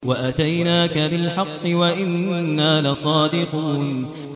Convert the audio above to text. وَأَتَيْنَاكَ بِالْحَقِّ وَإِنَّا لَصَادِقُونَ